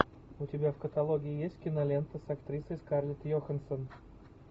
у тебя в каталоге есть кинолента с актрисой скарлетт йоханссон